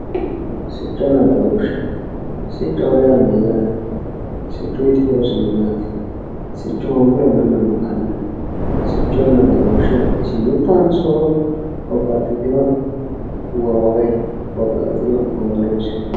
Sicconna badooshe, siccoho yaa mayaate, siccuyiti horosino maati, siccu hoogiro manu makano, sicconna badooshe isi mitohonso babaxitino woro woyi babaxitino horo noosi